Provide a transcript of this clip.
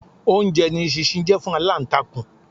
Oúnjẹ ni eṣinṣin jẹ́ fún aláǹtakùn.